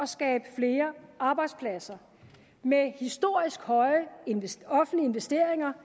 skabe flere arbejdspladser med historisk høje offentlige investeringer